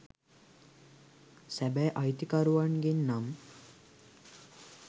සැබෑ අයිතිකරුවන්ගෙන් නම්